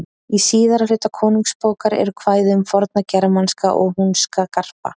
Í síðara hluta Konungsbókar eru kvæði um forna germanska og húnska garpa.